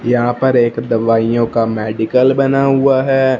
यहां पर एक दवाइयों का मेडिकल बना हुआ है।